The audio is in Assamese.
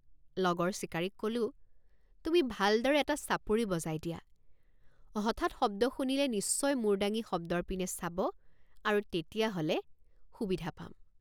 লগৰ চিকাৰীক কলোঁ তুমি ভালদৰে এটা চাপৰি বজাই দিয়া হঠাৎ শব্দ শুনিলে নিশ্চয় মূৰ দাঙি শব্দৰ পিনে চাব আৰু তেতিয়া হলে সুবিধা পাম।